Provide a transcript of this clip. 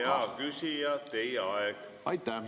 Hea küsija, teie aeg!